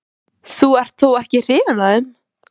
En vill Sveinn láta loka fjörunni fyrir ferðamönnum?